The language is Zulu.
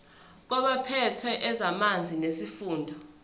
kwabaphethe ezamanzi nesifunda